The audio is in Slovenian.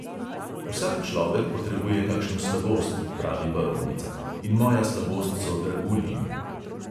Vsak človek potrebuje kakšno slabost," pravi baronica, "in moja slabost so dragulji."